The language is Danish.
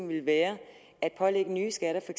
ville være at pålægge nye skatter for